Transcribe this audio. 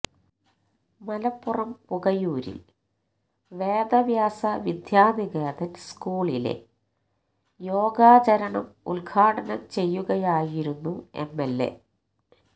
മലപ്പുറം പുകയൂരിൽ വേദവ്യാസ വിദ്യാനികേതൻ സ്കൂളിലെ യോഗാചരണം ഉദ്ഘാടനം ചെയ്യുകയായിരുന്നു എംഎൽഎ